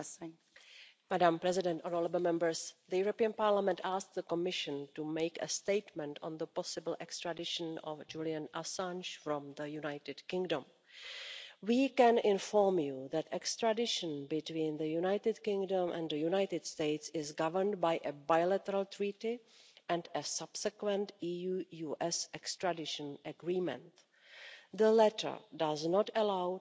Madam President, honourable Members, the European Parliament asked the Commission to make a statement on the possible extradition of Julian Assange from the United Kingdom. We can inform you that extradition between the United Kingdom and the United States is governed by a bilateral treaty and a subsequent EU US extradition agreement. The latter does not allow